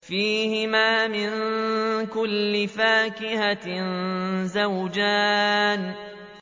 فِيهِمَا مِن كُلِّ فَاكِهَةٍ زَوْجَانِ